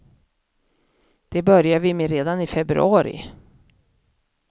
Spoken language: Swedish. Det börjar vi med redan i februari.